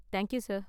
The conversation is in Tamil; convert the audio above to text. thank you sir